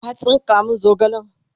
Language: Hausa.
ka tsinka min zogalen!